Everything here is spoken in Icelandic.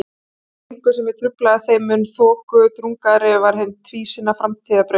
En því lengur sem ég gruflaði þeim mun þokudrungaðri var hin tvísýna framtíðarbraut.